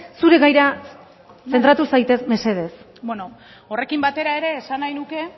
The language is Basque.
zure gaira zentratu zaitez mesedez horrekin batera ere esan nahi nuke